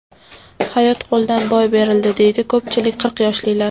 Hayot qo‘ldan boy berildi, deydi ko‘pchilik qirq yoshlilar.